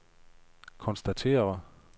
konstatere